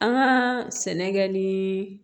An ka sɛnɛ kɛ ni